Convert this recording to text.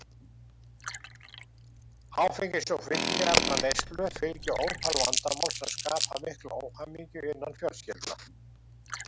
Áfengis- og fíkniefnaneyslu fylgja ótal vandamál sem skapa mikla óhamingju innan fjölskyldna.